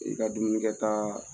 I ka dumunikɛ taa